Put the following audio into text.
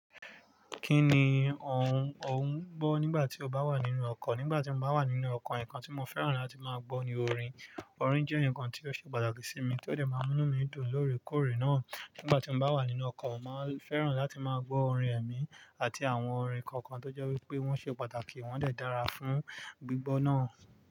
Kí ni ò ń, ò ń gbọ́ nígbà tí o bá wà nínú ọkọ̀? Nígbà tí mo bá wà nínú ọkọ̀, nǹkan tí mo fẹ́ràn láti máa gbọ́ ni orin. Orin jẹ́ nǹkan tí ó ṣe pàtàkì sí mi, tí ó dẹ̀ máa ń mú inu mi dùn lórekórè náà. Nígbà tí mo bá wà nínú ọkọ̀, mo màá n fẹ́ràn láti máa gbọ́ orin ẹ̀mí àti àwọn orin kọ̀ọ̀kan tó jẹ́ wípé wọ́n ṣe pàtàkì, wọ́n dẹ̀ dára fún gbígbọ́ náà.